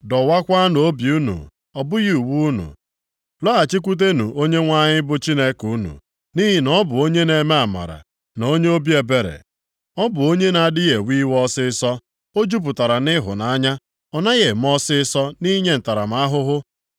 Dọwakwaanụ obi unu, ọ bụghị uwe unu. Lọghachikwutenụ Onyenwe anyị bụ Chineke unu, nʼihi na ọ bụ onye na-eme amara, na onye obi ebere. Ọ bụ onye na-adịghị ewe iwe ọsịịsọ. O jupụtara nʼịhụnanya. Ọ naghị eme ọsịịsọ nʼinye ntaramahụhụ.